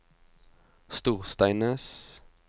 Storsteinnes